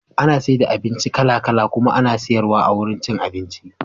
Ana saida abinci kala kala kuma ana siyar wa a wajan cin abinci.